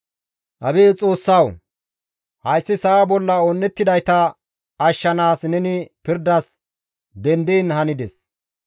Abeet Xoossawu! Hayssi sa7a bolla un7ettidayta ashshanaas neni pirdas dendiin handes.